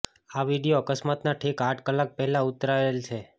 આ વિડિઓ અકસ્માતના ઠીક આઠ કલાક પહેલાં ઉતારેલ છે